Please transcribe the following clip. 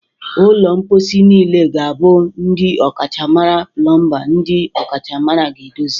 Ụlọ mposi niile ga-abụ ndị ọkachamara plọmba ndị ọkachamara ga-edozi